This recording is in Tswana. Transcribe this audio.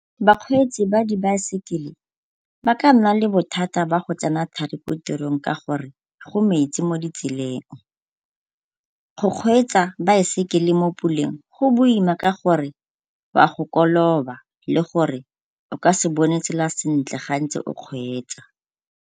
Bakgweetsi ba dibaesekele ba ka nna le bothata ba go tsena thari ko tirong ka gore go metsi mo ditseleng. Go kgweetsa baesekele mo puleng go boima ka gore o a go koloba le gore o ka se bone tsela sentle ga ntse o kgweetsa.